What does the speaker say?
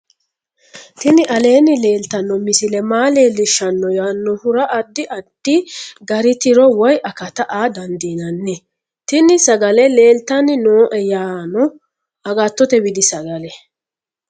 tini aleenni leeltanno misile maa leellishshanno yaannohura addi addi gari tiro woy akata aa dandiinanni tini sagale leeltanni nooe yaano agattote widi sagale